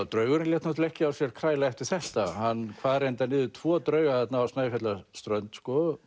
draugurinn lét náttúrulega ekki á sér kræla eftir þetta hann kvað reyndar niður tvo drauga þarna á Snæfjallaströnd